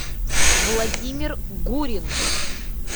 владимир гурин